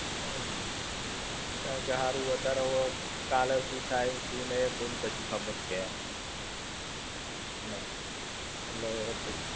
હમ્મ. કારણ કે હારું વધારે હવે, કાલે શું થાય શું નહિ, કોઈને કશી ખબર છે નહિ. એટલે પછી.